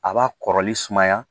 A b'a kɔrɔli sumaya